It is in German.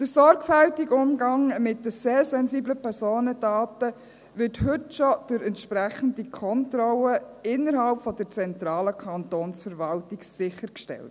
Der sorgfältige Umgang mit den sehr sensiblen Personendaten wird heute schon durch entsprechende Kontrollen innerhalb der zentralen Kantonsverwaltung sichergestellt.